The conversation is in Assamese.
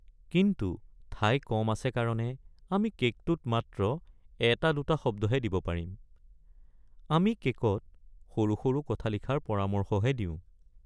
কিন্তু ঠাই কম আছে কাৰণে আমি কে'কটোত মাত্ৰ এটা-দুটা শব্দহে দিব পাৰিম। আমি কে'কত সৰু সৰু কথা লিখাৰ পৰামৰ্শহে দিওঁ।